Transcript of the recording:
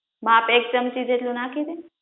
માપ એક ચમચી જેટલું નાખી દે